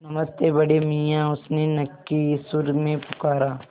नमस्ते बड़े मियाँ उसने नक्की सुर में पुकारा